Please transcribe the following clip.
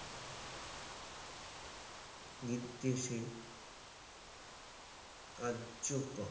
নিদ্রেশে কার্য কর